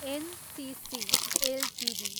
NCC Ltd